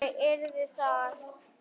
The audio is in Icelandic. Þannig yrði það.